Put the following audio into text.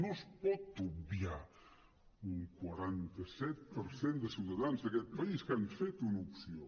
no es pot obviar un quaranta set per cent de ciutadans d’aquest país que han fet una opció